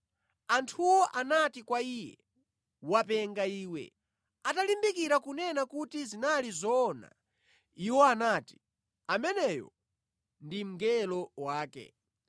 Anthuwo anati kwa iye, “Wopenga iwe!” Atalimbikira kunena kuti zinali zoona, iwo anati, “Ameneyo ndi mngelo wake.”